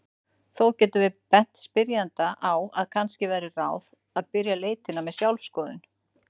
Þó getum við bent spyrjanda á að kannski væri ráð að byrja leitina með sjálfsskoðun.